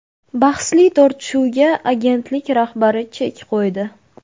Bahsli tortishuvga agentlik rahbari chek qo‘ydi.